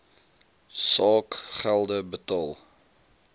saak gelde betaal